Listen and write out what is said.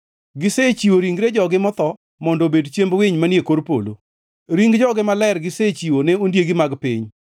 Gisechiwo ringre jogi motho mondo obed chiemb winy manie kor polo, ring jogi maler gisechiwo ne ondiegi mag piny.